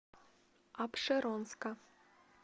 апшеронска